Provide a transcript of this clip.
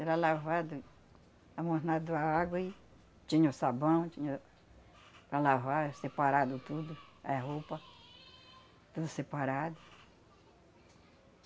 Era lavado, amornado a água e tinha o sabão tinha para lavar, era separado tudo, é roupa, tudo separado.